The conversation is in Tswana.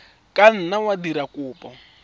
ka nna wa dira kopo